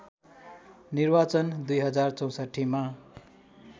निर्वाचन २०६४ मा